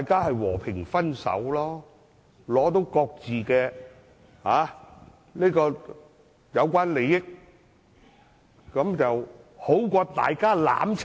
是和平分手，拿取各自的有關利益，總好過大家"攬炒"。